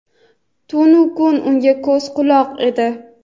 tunu kun unga ko‘z-quloq edi.